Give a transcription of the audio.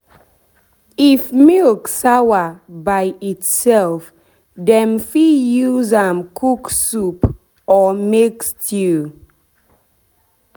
if milk sawa by itself dem fit use am cook soup or make stew